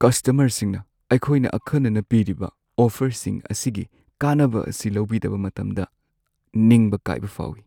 ꯀꯁꯇꯃꯔꯁꯤꯡꯅ ꯑꯩꯈꯣꯏꯅ ꯑꯈꯟꯅꯅ ꯄꯤꯔꯤꯕ ꯑꯣꯐꯔꯁꯤꯡ ꯑꯁꯤꯒꯤ ꯀꯥꯟꯅꯕ ꯑꯁꯤ ꯂꯧꯕꯤꯗꯕ ꯃꯇꯝꯗ ꯅꯤꯡꯕ ꯀꯥꯏꯕ ꯐꯥꯎꯋꯤ ꯫